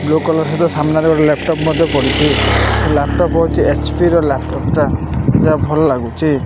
Blue colour ସହିତ ସାମ୍ନାରେ ଗୋଟେ ଲାପଟପ୍ ମଧ୍ୟ ପଡିଛି ଲାପ୍ ଟପ୍ ହେଉଚି ଏଚ୍_ପି ର ଲାପଟପ୍ ଟା ଭଲ ଲାଗୁଚି।